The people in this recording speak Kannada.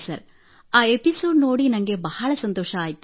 ಸರ್ ಆ ಇಠಿisoಜe ನೋಡಿ ನನಗೆ ಬಹಳ ಸಂತೋಷವಾಯಿತು